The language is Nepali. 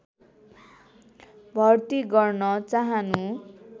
भर्ती गर्न चाहनु